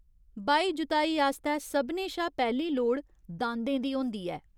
बाही जुताई आस्तै सभनें शा पैह्ली लोड़ दांदें दी होंदी ऐ।